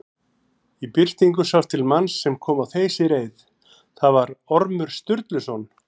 Í birtingu sást til manns sem kom á þeysireið, það var Ormur Sturluson.